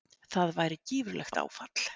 það væri gífurlegt áfall